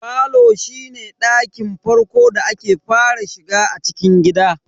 Falo shine ɗakin farko da ake fara shiga a cikin gida.